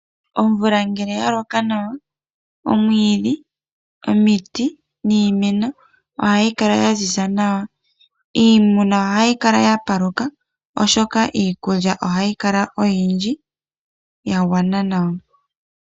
Omvula ngele oyaloka nawa omwiidhi, omiti niimeno ohayi kala yaziza nawa. Iimuna ohayi kala yapaluka oshoka iikulya ohayi kala oyindji ya gwana nawa.